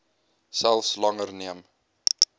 selfs langer neem